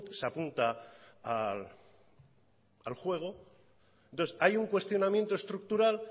se apunta al juego entonces hay un cuestionamiento estructural